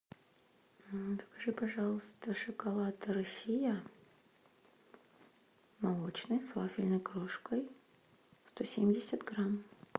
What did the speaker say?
закажи пожалуйста шоколад россия молочный с вафельной крошкой сто семьдесят грамм